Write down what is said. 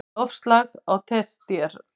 Loftslag á tertíer